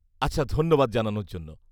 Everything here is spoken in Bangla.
আচ্ছা, ধন্যবাদ জানানোর জন্য।